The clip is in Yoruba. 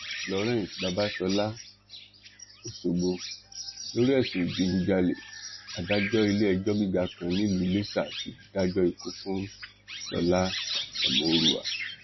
florence babasola ọsọgbọ lórí ẹsùn ìdígunjalè adájọ iléẹjọ gíga kan nílùú iléṣà ti dájọ ikú fún sọlá ẹmórúà